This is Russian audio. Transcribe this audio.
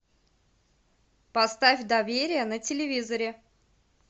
поставь доверие на телевизоре